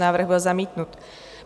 Návrh byl zamítnut.